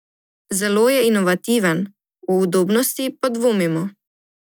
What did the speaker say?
Zelo je inovativen, o udobnosti pa dvomimo.